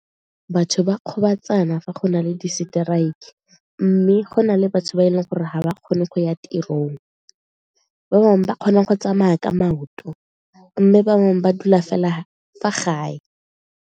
Batho ba gobatsana fa go na le di-strike mme go na le batho ba e leng gore ga ba kgone go ya tirong, ba bangwe ba kgona go tsamaya ka maoto mme bangwe ba dula fela fa gae.